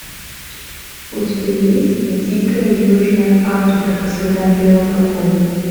у тебя есть дикая южная африка по следам белых акул